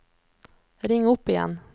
ring opp igjen